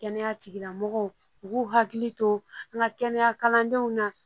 Kɛnɛya tigilamɔgɔw u k'u hakili to an ka kɛnɛya kalandenw na